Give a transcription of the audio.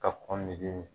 Ka kɔngili ye